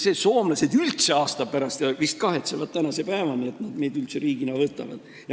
Soomlased tegid seda aasta pärast ja vist kahetsevad tänase päevani, et nad meid üldse riigina võtavad.